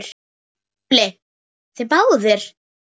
SKÚLI: Þið báðir?